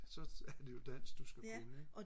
så er det jo dansk du skal kunne ikke